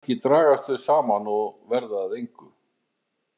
Kannski dragast þau saman og verða að engu.